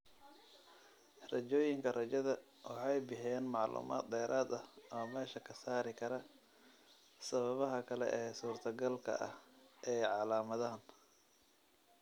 Raajooyinka raajada waxay bixiyaan macluumaad dheeraad ah oo meesha ka saari kara sababaha kale ee suurtagalka ah ee calaamadahan.